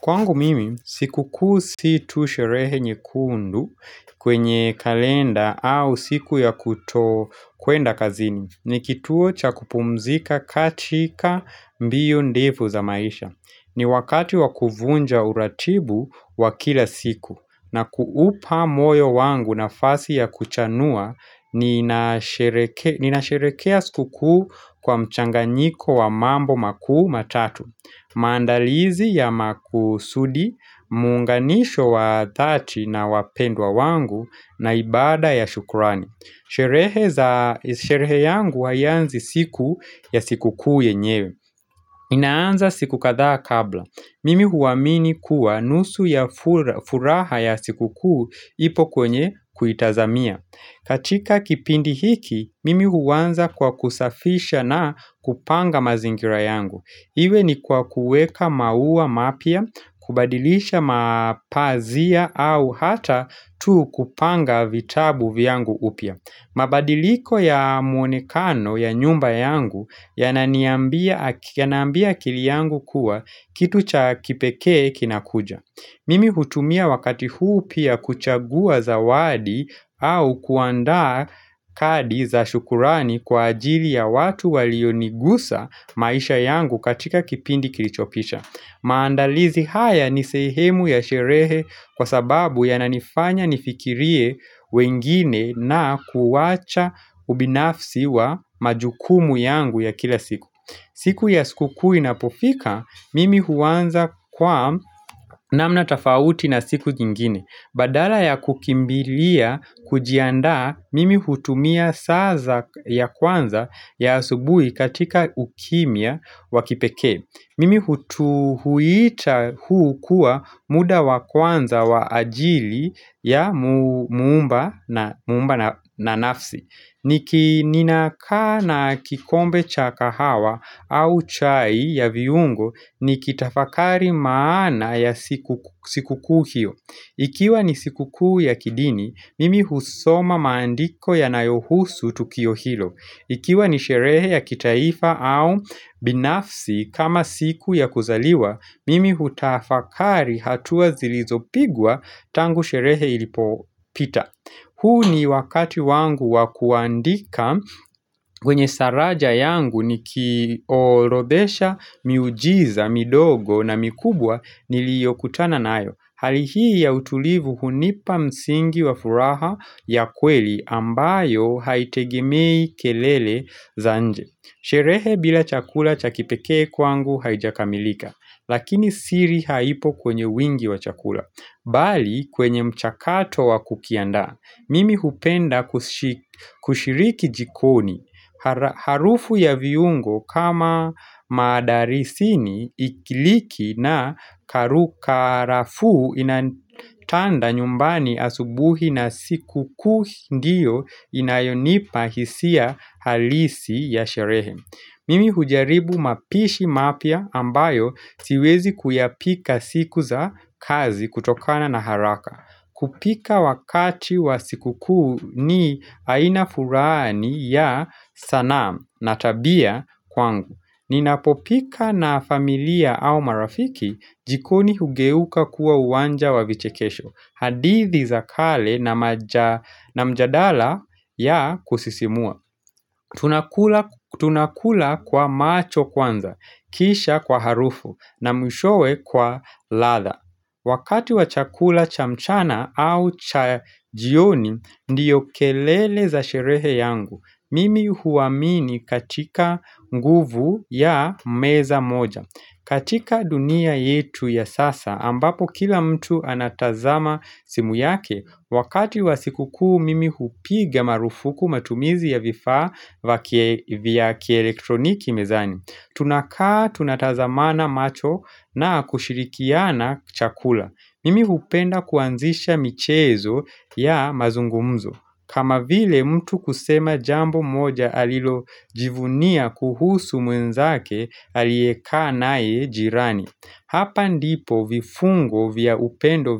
Kwangu mimi, sikukuu si tu sherehe nyekundu kwenye kalenda au siku ya kuto kuenda kazini. Ni kituo cha kupumzika katika mbio ndefu za maisha. Ni wakati wakuvunja uratibu wa kila siku. Na kuupa moyo wangu nafasi ya kuchanua, nina sherehekea sikukuu kwa mchanganyiko wa mambo makuu matatu. Maandalizi ya makusudi, muunganisho wa dhati na wapendwa wangu na ibada ya shukurani Sherehe yangu haianzi siku ya sikukuu yenyewe inaanza siku kadhaa kabla na kuupa moyo wangu nafasi ya kuchanua, ninasherekea siku kuu kwa mchanganyiko wa mambo makuu matatu. Katika kipindi hiki, mimi huanza kwa kusafisha na kupanga mazingira yangu Iwe ni kwa kuweka maua mapya, kubadilisha mapazia au hata tu kupanga vitabu vyangu upya. Mabadiliko ya mwonekano ya nyumba yangu yananiambia akili yangu kuwa kitu cha kipekee kinakuja. Mimi hutumia wakati huu pia kuchagua zawadi au kuandaa kadi za shukurani kwa ajili ya watu walioniguza maisha yangu katika kipindi kilichopisha. Maandalizi haya ni sehemu ya sherehe kwa sababu yananifanya nifikirie wengine na kuwacha ubinafsi wa majukumu yangu ya kila siku. Siku ya sukukuu inapofika, mimi huanza kwa namna tofauti na siku nyingine. Badala ya kukimbilia, kujiandaa, mimi hutumia saa za ya kwanza ya asubuhi katika ukimya wa kipekee. Mimi huita huu kuwa muda wa kwanza wa ajili ya muumba na nafsi. Niki ninakaa na kikombe cha kahawa au chai ya viungo nikitafakari maana ya sikukuu hio. Ikiwa ni sikukuu ya kidini, mimi husoma maandiko yanayohusu tukio hilo. Ikiwa ni sherehe ya kitaifa au binafsi kama siku ya kuzaliwa, mimi hutafakari hatua zilizopigwa tangu sherehe ilipopita. Huu ni wakati wangu wa kuandika kwenye saraja yangu ni kiorodhesha miujiza, midogo na mikubwa niliyokutana nayo. Hali hii ya utulivu hunipa msingi wa furaha ya kweli ambayo haitegemei kelele za nje Sherehe bila chakula cha kipekee kwangu haijakamilika Lakini siri haipo kwenye wingi wa chakula Bali kwenye mchakato wa kukiandaa Mimi hupenda kushiriki jikoni Harufu ya viungo kama mdarisini iliki na karafuu inatanda nyumbani asubuhi na sikukuu ndiyo inayonipa hisia halisi ya sherehe Mimi hujaribu mapishi mapya ambayo siwezi kuyapika siku za kazi kutokana na haraka kupika wakati wa sikukuu ni aina fulani ya sanaa na tabia kwangu. Ninapo pika na familia au marafiki jikoni hugeuka kuwa uwanja wa vichekesho. Hadithi za kale na mjadala ya kusisimua. Tunakula kwa macho kwanza, kisha kwa harufu, na mwishowe kwa ladha. Wakati wa chakula cha mchana au cha jioni ndiyo kelele za sherehe yangu, mimi huamini katika nguvu ya meza moja. Katika dunia yetu ya sasa, ambapo kila mtu anatazama simu yake, wakati wa sikukuu mimi hupiga marufuku matumizi ya vifaa vya kieletroniki mezani. Tunakaa tunatazamana macho na kushirikiana chakula. Mimi hupenda kuanzisha michezo ya mazungumzo. Kama vile mtu kusema jambo moja alilo jivunia kuhusu mwenzake alieye kaa naye jirani. Hapa ndipo vifungo vya upendo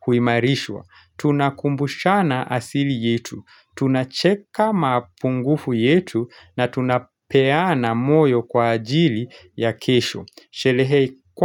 huimarishwa. Tunakumbushana asili yetu. Tunacheka mapungufu yetu na tunapeana moyo kwa ajili ya kesho.